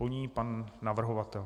Po ní pan navrhovatel.